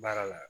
Baara la